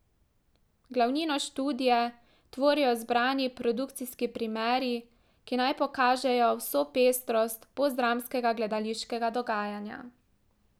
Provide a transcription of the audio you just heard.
Glavnino študije tvorijo izbrani produkcijski primeri, ki naj pokažejo vso pestrost postdramskega gledališkega dogajanja.